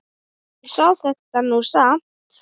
Hún sá þetta nú samt.